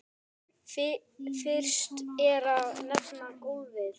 Fyrst er að nefna golfið.